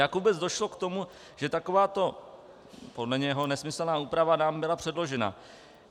Jak vůbec došlo k tomu, že takováto podle něho nesmyslná úprava nám byla předložena?